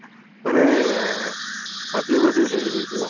ମାନେ ଅଜୀବ ଅଜୀବ ହେଇ ହେଇ ଯିବ